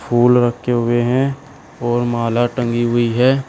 फूल रखे हुए हैं और माला टंगी हुई है।